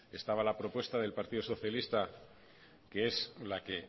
estaba la propuesta del partido socialista que es la que